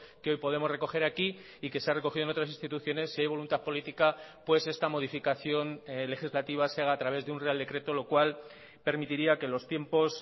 que hoy podemos recoger aquí y que sea recogido en otras instituciones si hay voluntad política pues esta modificación legislativa se haga a través de un real decreto lo cual permitiría que los tiempos